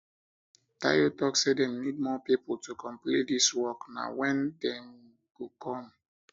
tayo talk say dem need more people to complete dis work na when dem go come